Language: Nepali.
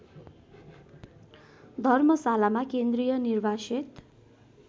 धर्मशालामा केन्द्रीय निर्वासित